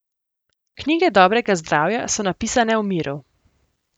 Knjige dobrega zdravja so napisane v miru.